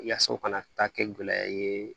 Yaasa u kana taa kɛ gɛlɛya ye